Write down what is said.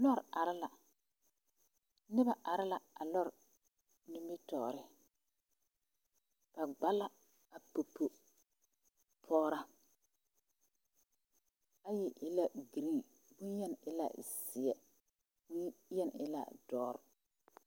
Lɔre are la noba are la a lɔre nimitɔɔre ba gba la a popo pɔgraa ayi e la girin bonyeni e la zeɛ bonyeni e la dɔre.